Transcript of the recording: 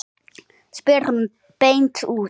spyr hún beint út.